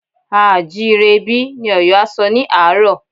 A à jí ire bí? Ni Ọ̀yọ́ a sọ ní àárọ̀